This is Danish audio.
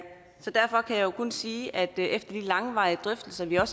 jo kun sige at efter de langvarige drøftelser vi har